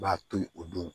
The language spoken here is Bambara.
B'a toli o don